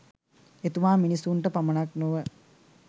එතුමා මිනිසුනට පමණක් නොව